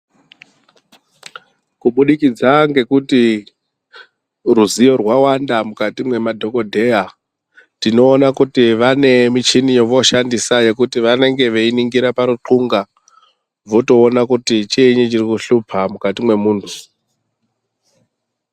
Kubudikidza ngekuti ruzivo rwawanda mukati mwemadhokodheya, tinoona kuti vane michini yevooshandisa kuti vanenge veiningira parunxunga votoona kuti chiinyi chirikushupha mukati mwemuntu.